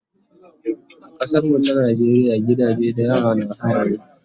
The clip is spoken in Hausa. A kasar mu ta Najeriya gidaje da yawa na haya ne